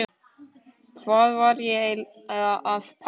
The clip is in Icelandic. Hvað var ég að pæla?